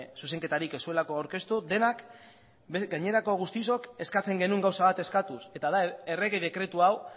zuzenketarik ez zuelako aurkeztu denak gainerako guztiok eskatzen genuen gauza bat eskatuz eta da errege dekretu hau